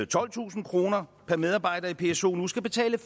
tolvtusind kroner per medarbejder i pso nu skal betale